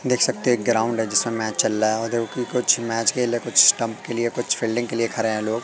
देख सकते हैं एक ग्राउंड है जिसमें मैच चल रहा है उधर कि कुछ मैच के लिए कुछ स्टंप के लिए कुछ फील्डिंग के लिए खड़े हैं लोग।